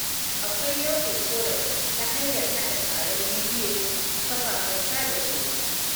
Akwai nau'in ƙorafi ta hanyar haɗa taron bidiyo akafafen sada zumunta.